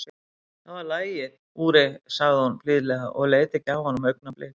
Það var lagið, Úri, sagði hún blíðlega og leit ekki af honum augnablik.